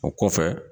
O kɔfɛ